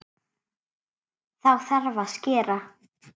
Þá þarf að skera.